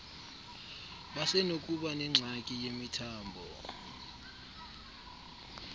basenokuba nengxaki yemithambo